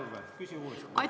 Ole hea, Urve, küsi uuesti!